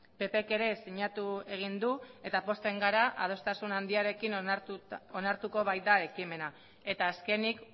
ppek ere sinatu egin du eta pozten gara adostasun handiarekin onartuko baita ekimena eta azkenik